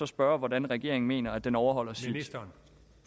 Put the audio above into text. spørge hvordan regeringen mener at den overholder sit